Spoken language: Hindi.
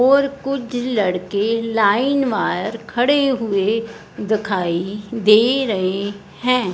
और कुछ लड़के लाइन वार खड़े हुए दिखाई दे रहे हैं।